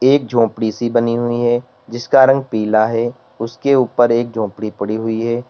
एक झोपड़ी सी बनी हुई है जिसका रंग पीला है उसके ऊपर एक झोपड़ी पड़ी हुई है।